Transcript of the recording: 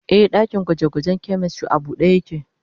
Ee, dakin gwaje-gwajen chemistry a buɗe yake.